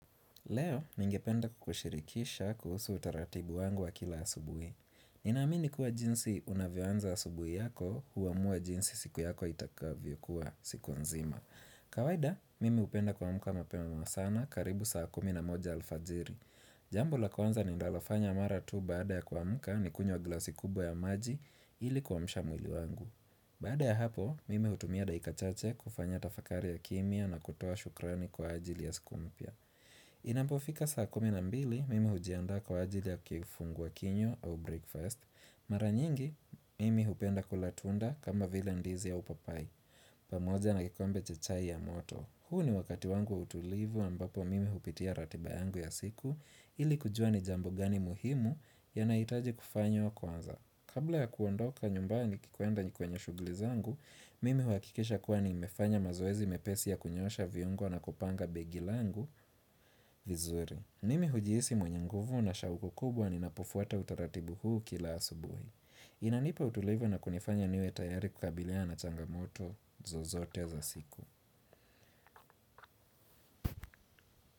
Leo, ningependa kukushirikisha kuhusu utaratibu wangu wa kila asubui. Ninaamini kuwa jinsi unavyoanza asubui yako huamua jinsi siku yako itakavyokuwa siku nzima. Kawada, mimi upenda kuamka mapema ma sana karibu saa kumi na moja alfajiri. Jambo la kwanza ninalofanya mara tu baada ya kuamka ni kunywa glasi kubwa ya maji ili kuamsha mwili wangu. Baada ya hapo, mimi hutumia dakika chache kufanya tafakari ya kimya na kutoa shukrani kwa ajili ya siku mpya. Inapofika saa kumi na mbili mimi hujiandaa kwa ajili ya kifungua kinywa au breakfast Mara nyingi mimi hupenda kula tunda kama vile ndizi au papai pamoja na kikombe cha chai ya moto huu ni wakati wangu wa utulivu ambapo mimi hupitia ratiba yangu ya siku ili kujua ni jambo gani muhimu yanaitaji kufanywa kwanza Kabla ya kuondoka nyumbani nikikwenda kwenye shughli zangu Mimi huakikisha kuwa nimefanya mazoezi mepesi ya kunyoosha viungo na kupanga begi langu vizuri. Mimi hujihisi mwenye nguvu na shauku kubwa ninapofuata utaratibu huu kila asubuhi. Inanipa utulivu na kunifanya niwe tayari kukabiliana changamoto zozote za siku.